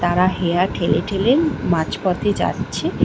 তারা হেয়া ঠেলে ঠেলে মাঝপথে যাচ্ছে।